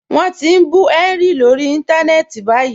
Wọn ti n bú Henry lórí ìntánẹ̀ẹ̀tì báyìí.